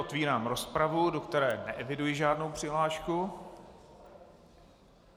Otevírám rozpravu, do které neeviduji žádnou přihlášku.